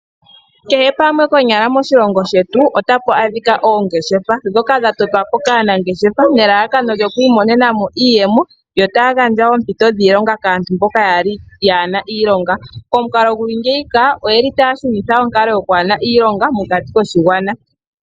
Kehe pamwe konyala moshilongo shetu, ota pu adhika oongeshefa dhoka dha totwa po kaanangeshefa nelalakano lyo ku imonena mo iiyemo, yo ta ya gandja wo oompito dhiilonga kaantu mboka yaana iilonga, komukalo gu li ngika oyeli ta ya shunitha onkalo yokwaana iilonga mokati koshigwana.